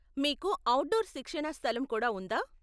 మీకు అవుట్డోర్ శిక్షణా స్థలం కూడా ఉందా?